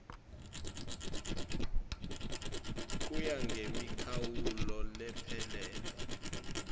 kuya ngemikhawulo lephelele